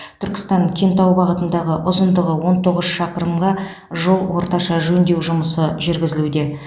түркістан кентау бағытындағы ұзындығы он тоғыз шақырымға жол орташа жөндеу жұмысы жүргізілуде